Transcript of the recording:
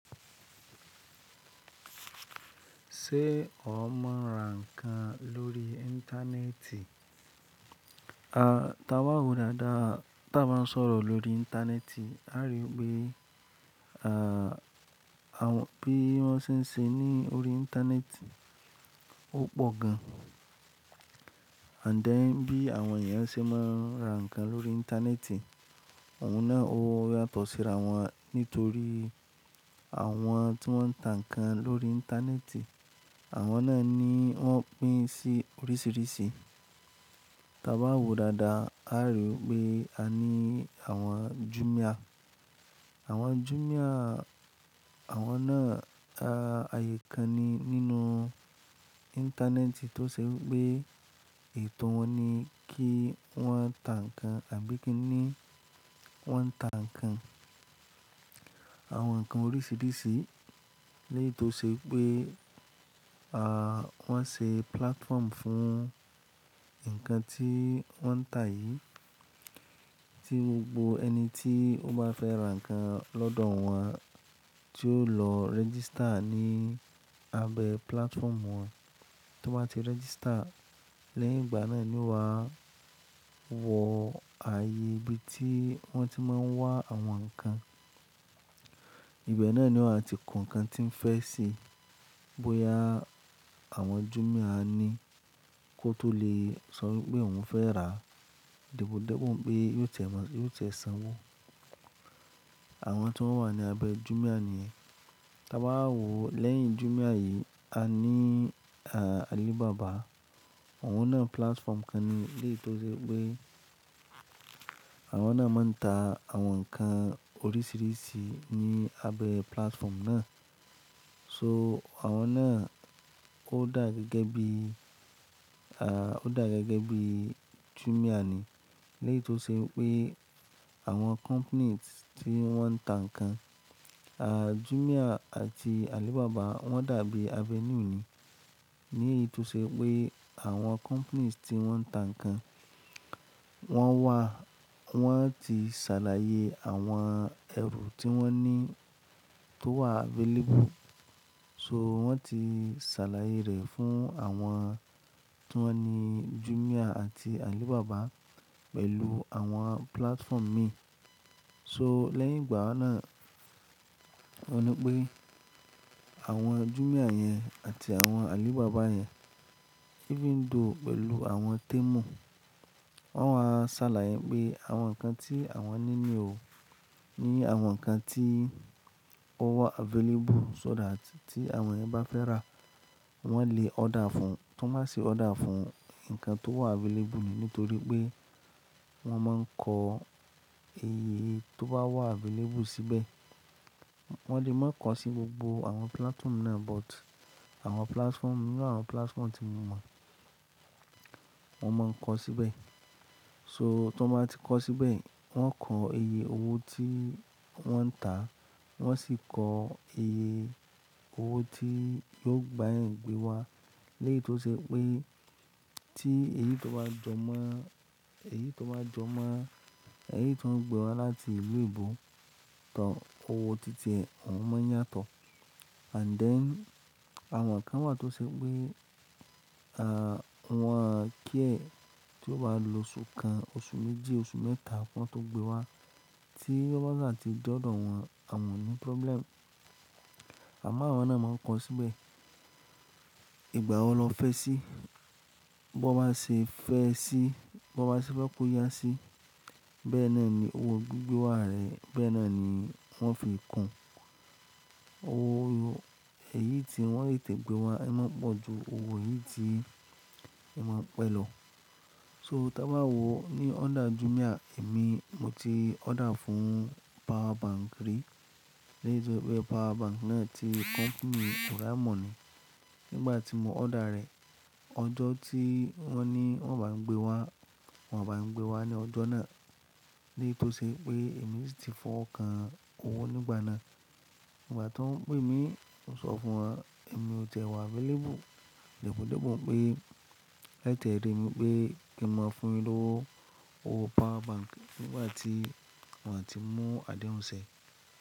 Ṣé o mọ ra nǹkan lórí Íńtánẹ́ẹ̀tì? A, tí a bá wo dáadáa tí a bá ń sọ̀rọ̀ lórí Íńtánẹ́ẹ̀tì, a rí i pé, à, àwọn bí wọ́n ṣe ń ṣe ní orí Íńtánẹ́ẹ̀tì ó pọ̀ gan. And then bí àwọn ènìyàn ṣe máa ń ra nǹkan lórí Íńtánẹ́ẹ̀tì, òun náà ó yàtọ̀ síra wọn nítorí àwọn tí wọ́n ń tà nǹkan lórí Íńtánẹ́ẹ̀tì, àwọn náà ni wọ́n pín sí oríṣìíríṣìí. Tí a bá wo dáadáa, a rí i pé a ní àwọn Jumia. Àwọn Jumia, àwọn náà, a, ààyè kan ni nínú Íńtánẹ́ẹ̀tì tó ṣe pé ètò wọn ni kí wọ́n tà nǹkan àbí kí ni wọ́n tà nǹkan, àwọn nǹkan oríṣìíríṣìí. Léyì tó ṣe pé, a, wọ́n ṣe platform fún nǹkan tí wọ́n ń tà yìí, tí gbogbo ẹni tí ó bá fẹ́ ra nǹkan lọ́dọ̀ wọ́n, tí yóò lọ register ní abẹ́ platform wọn. Tí wọ́n bá ti register, lẹ́yìn ìgbà náà ni wọ́n á wọ ààyè ibi tí wọ́n ti máa ń wá àwọn nǹkan. Ìgbà náà ni wọ́n á ti kun nǹkan tí ń fẹ́ ṣe. Bóyá àwọn Jumia ni kó tó lè sọ pé òun fẹ́ rà, dípò dípò pé yóò tẹ̀ mọ́, yóò tẹ̀ sanwó. Àwọn tí wọ́n wà ní abẹ́ Jumia ni ẹ. Tí a bá wo lẹ́yìn Jumia yìí, a ní, a, Alibaba. Àwọn náà platform kan ni lẹ́yì tó ṣe pé àwọn náà máa ń ta àwọn nǹkan oríṣìíríṣìí ní abẹ́ platform náà. So àwọn náà ó dà gẹ́gẹ́ bí, a, ó dà gẹ́gẹ́ bí Jumia ni lẹ́yì tó ṣe pé àwọn companies tí wọ́n ń tà nǹkan, a, Jumia àti Alibaba wọ́n dàbí abẹ́ inú ni. Níyì tó ṣe pé àwọn companies tí wọ́n ń tà nǹkan, wọ́n wà, wọ́n ti ṣàlàyé àwọn ẹ̀rù tí wọ́n ní tó wà available. So wọ́n ti ṣàlàyé rẹ̀ fún àwọn tí wọ́n ni Jumia àti Alibaba pẹ̀lú àwọn platform mi. So lẹ́yìn ìgbà náà, wọn ní pé àwọn Jumia yẹn àti àwọn Alibaba yẹn even though pẹ̀lú àwọn Temu, wọ́n máa ṣàlàyé pé àwọn nǹkan tí àwọn ní ní ò, ní àwọn nǹkan tí ó wà available so that tí àwọn ènìyàn bá fẹ́ rà, wọ́n lè order fún un. Tí wọ́n bá ṣe order fún un, nǹkan tó wà available nìyẹn nítorí pé wọ́n máa ń kọ iye tó bá wà available síbẹ̀. Wọ́n lè má kọ sí gbogbo àwọn platform náà but àwọn platform, inú àwọn platform tí mo mọ̀, wọ́n máa ń kọ síbẹ̀. So tí wọ́n bá ti kọ síbẹ̀, wọ́n kọ iye owó tí wọ́n ń tà, wọ́n sì kọ iye owó tí yóò gba ẹ̀ ń gbé wá. Léyì tó ṣe pé tí èyí tó bá jọ mọ́, èyí tó bá jọ mọ́, èyí tó ń gbé wá láti ìlú ìbò tán owó títẹ, òun máa yàtọ̀. And then àwọn nǹkan wà tó ṣe pé, a, wọn kí ẹ tí ó bá lo oṣù kan, oṣù méjì, oṣù mẹ́ta kí wọ́n tó gbé wá tí lọ́gán tí dọ́dọ̀ wọn, àwọn ò ní problem. Àmọ́ àwọn náà máa ń kọ síbẹ̀ ìgbà wo lọ fẹ́ sí, bó bá ṣe fẹ́ sí, bó bá ṣe fẹ́ kó yá sí, bẹ́ẹ̀ náà ni owó gbigbé wá rẹ̀, bẹ́ẹ̀ náà ni wọ́n fi kàn owó èyí tí wọ́n lè tẹ̀ gbé wá, ẹ má pọ̀ ju owó yìí tí ẹ máa ń pẹ̀ lọ. So tí a bá wo ní ọ́dà Jumia, èmi mo ti order fún power bank rí. Léyì tó ṣe pé power bank náà ti company Oraimo ni. Nígbà tí mo order rẹ̀, ọjọ́ tí wọ́n ní wọ́n bá ń gbé wá, wọ́n bá ń gbé wá ní ọjọ́ náà. Léyì tó ṣe pé èmi sì ti fọ́ kan owó nígbà náà. Nígbà tí wọ́n pè mí, mo sọ fún wọn, èmi ò tẹ́ wá available. Dípò dípò pé kí ẹ tẹ̀ rí mi pé kí n máa fún ẹ lówó owó power bank nígbà tí wọn á ti mú adéhun ṣẹ.